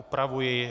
Upravuji.